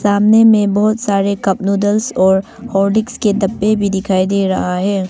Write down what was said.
सामने में बहुत सारे कप नूडल्स और हॉर्लिक्स के डब्बे भी दिखाई दे रहा हैं।